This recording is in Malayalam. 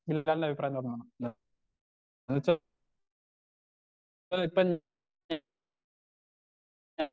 ബിലാലിന്റെ അഭിപ്രായം പറഞ്ഞ്